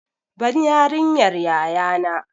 Ban yariyar yaya na!